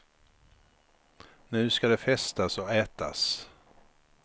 Nu ska det festas och ätas.